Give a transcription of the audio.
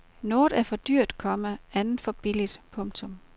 Noget er for dyrt, komma andet for billigt. punktum